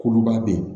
Kuluba bɛ yen